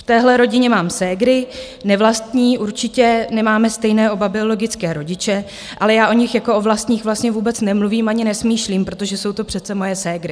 V téhle rodině mám ségry - nevlastní, určitě, nemáme stejné oba biologické rodiče, ale já o nich jako o nevlastních vlastně vůbec nemluvím ani nesmýšlím, protože jsou to přece moje ségry.